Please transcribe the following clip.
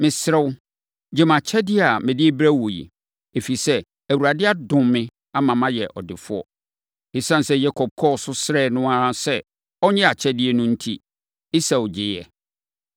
Mesrɛ wo, gye mʼakyɛdeɛ a mede rebrɛ wo yi, ɛfiri sɛ, Awurade adom me ama mayɛ ɔdefoɔ.” Esiane sɛ Yakob kɔɔ so srɛɛ no ara sɛ ɔnnye nʼakyɛdeɛ no enti, Esau gyeeɛ.